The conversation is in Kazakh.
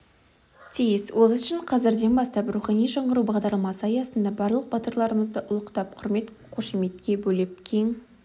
тиіс ол үшін қазірден бастап рухани жаңғыру бағдарламасы аясында барлық батырларымызды ұлықтап құрмет-қошеметке бөлеп кең